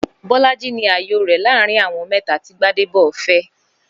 Bó̩lánlé ni àyò rè̩ láàárín àwo̩n mé̩ta tí Gbádébò fé̩